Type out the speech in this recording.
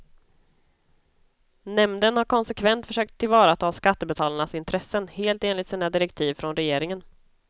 Nämnden har konsekvent försökt tillvarata skattebetalarnas intressen, helt enligt sina direktiv från regeringen.